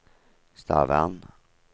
Stavern